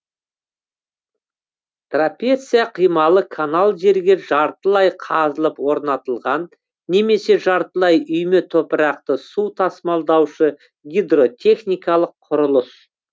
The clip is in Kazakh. трапеция қималы канал жерге жартылай қазылып орнатылған немесе жартылай үйме топырақты су тасымалдаушы гидротехникалық құрылыс